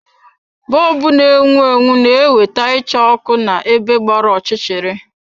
Bọlbụ na-enwu enwu na ewete icha òkù na-ebe gbara ọchịchịrị.